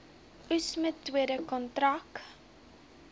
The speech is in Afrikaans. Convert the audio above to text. oes metode kontrak